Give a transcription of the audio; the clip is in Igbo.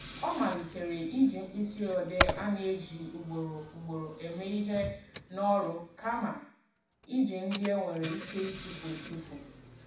Ọ malitere iji mkpịsị odee a na-eji ugboro ugboro eme ihe n'ọrụ kama iji ndị e nwere ike ịtufu etufu